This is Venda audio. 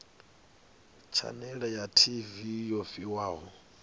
tshanele ya tv yo fhiwaho